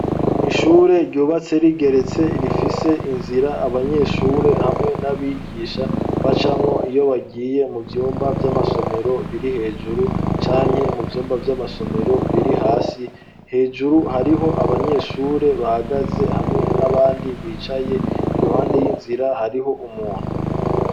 Ishure ryubatse rigeretse rifise inzira abanyeshure hamwe n'abigisha bacamwo iyo bagiye mu vyumba vy'amasomero biri hejuru, canke mu vyumba vy'amasomero biri hasi. Hejuru hariho abanyeshure bahagaze hamwe n'abandi bicaye. Iruhande y'inzira, hariho umuntu.